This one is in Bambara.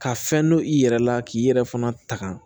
Ka fɛn don i yɛrɛ la k'i yɛrɛ fana tagan